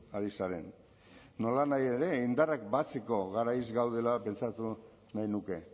ari zaren nolanahi ere indarrak batzeko garaiz gaudela pentsatu nahi nuke